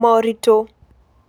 Moritũ: